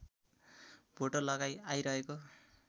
भोटो लगाई आइरहेको